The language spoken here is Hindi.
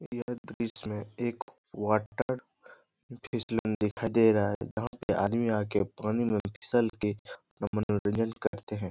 ये बीच में एक वाटर फिसलन दिखाई दे रहा है जहाँ पे आदमी आ के पानी में फिसल के अपना मनोरंजन करते हैं ।